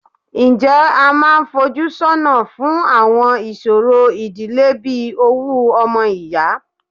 Ǹjẹ́ a máa ń fojú sọ́nà fún àwọn ìṣòro ìdílé bí owú ọmọ ìyá?